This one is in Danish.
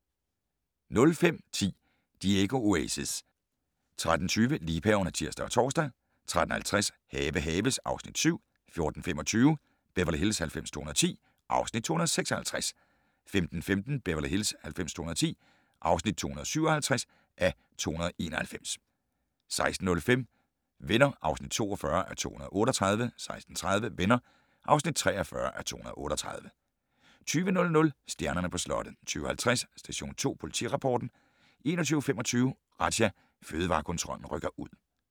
05:10: Diego Oasis 13:20: Liebhaverne (tir og tor) 13:50: Have haves (Afs. 7) 14:25: Beverly Hills 90210 (Afs. 256) 15:15: Beverly Hills 90210 (257:291) 16:05: Venner (42:238) 16:30: Venner (43:238) 20:00: Stjernerne på slottet 20:50: Station 2 Politirapporten 21:25: Razzia - Fødevarekontrollen rykker ud